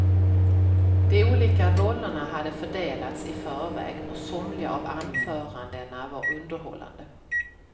De olika rollerna hade fördelats i förväg, och somliga av anförandena var underhållande.